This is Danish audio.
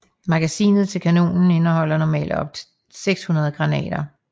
Magasinet til kanonen indeholder normalt op til 600 granater